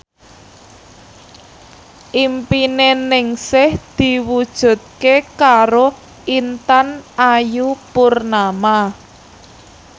impine Ningsih diwujudke karo Intan Ayu Purnama